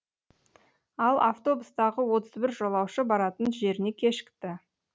ал автобустағы отыз бір жолаушы баратын жеріне кешікті